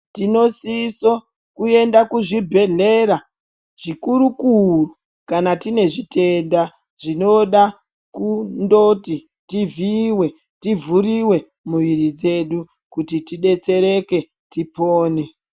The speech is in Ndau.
Tinosisa kuenda kuchibhedhlera chikuru kuru kana tine zvitenda zvinoda kundoti tivhiiwe tivhuriwe muviri dzedu tidetsereke tipone.